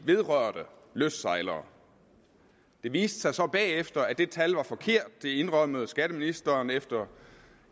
vedrørte lystsejlere det viste sig så bagefter at det tal var forkert det indrømmede skatteministeren efter